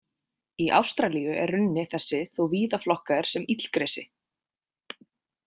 Í Ástralíu er runni þessi þó víða flokkaður sem illgresi.